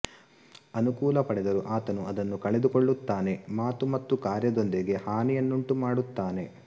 ಅನುಕೂಲ ಪಡೆದರೂ ಆತನು ಅದನ್ನು ಕಳೆದುಕೊಳ್ಳುತ್ತಾನೆ ಮಾತು ಮತ್ತು ಕಾರ್ಯದೊಂದಿಗೆ ಹಾನಿಯನ್ನುಂಟುಮಾಡುತ್ತಾನೆ